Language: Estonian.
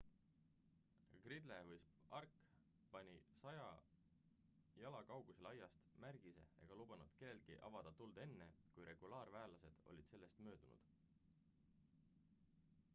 gridle või stark pani 100 jala 30 m kaugusele aiast märgise ega lubanud kellelgi avada tuld enne kui regulaarväelased olid sellest möödunud